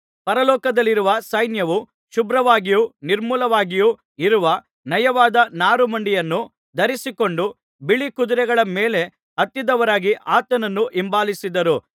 ಪರಲೋಕದಲ್ಲಿರುವ ಸೈನ್ಯವು ಶುಭ್ರವಾಗಿಯೂ ನಿರ್ಮಲವಾಗಿಯೂ ಇರುವ ನಯವಾದ ನಾರುಮಡಿಯನ್ನು ಧರಿಸಿಕೊಂಡು ಬಿಳೀ ಕುದುರೆಗಳ ಮೇಲೆ ಹತ್ತಿದವರಾಗಿ ಆತನನ್ನು ಹಿಂಬಾಲಿಸಿದರು